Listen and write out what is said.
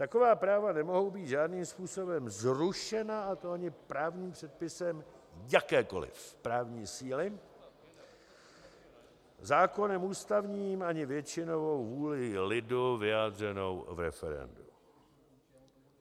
Taková práva nemohou být žádným způsobem zrušena, a to ani právním předpisem jakékoliv právní síly, zákonem ústavním ani většinovou vůlí lidu vyjádřenou v referendu.